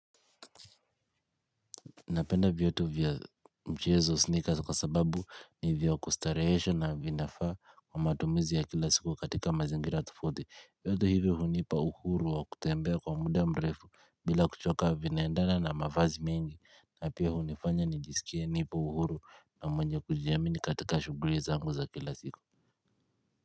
Napenda viatu vya mchezo sneakers kwa sababu ni vya kustarehesha na vinafaa kwa matumizi ya kila siku katika mazingira tufauti. Viatu hivyo hunipa uhuru wa kutembea kwa muda mrefu bila kuchoka vinaendana na mavazi mengi. Na pia hunifanya nijisikia nipo uhuru na mwenye kujiamini katika shughuli zangu za kila siku.